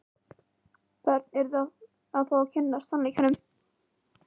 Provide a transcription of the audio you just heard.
Börn yrðu að fá að kynnast sannleikanum.